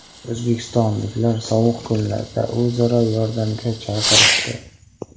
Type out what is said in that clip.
O‘zbekistonliklar sovuq kunlarda o‘zaro yordamga chaqirishdi.